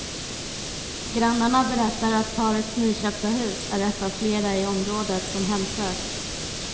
Grannarna berättar att parets nyköpta hus är ett av flera i området som hemsöks.